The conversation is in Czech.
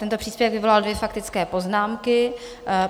Tento příspěvek vyvolal dvě faktické poznámky.